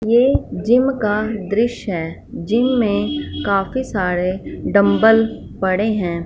ये जिम का दृश्य है जिम में काफी सारे डंबल पड़े हैं।